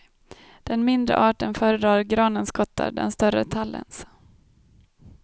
Den mindre arten föredrar granens kottar, den större tallens.